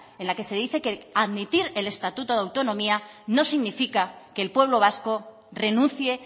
en la que se dice que admitir el estatuto de autonomía no significa que el pueblo vasco renuncie